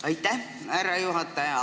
Aitäh, härra juhataja!